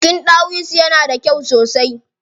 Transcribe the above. Jikin ɗawisu yana da kyau sosai.